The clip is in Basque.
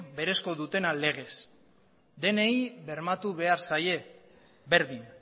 berezkoa dutena legez denei bermatu behar zaio berdin